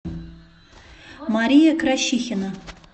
мария кращихина